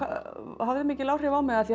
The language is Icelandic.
hafði mikil áhrif á mig af því